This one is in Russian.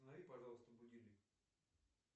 останови пожалуйста будильник